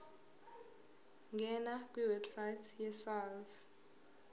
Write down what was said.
ngena kwiwebsite yesars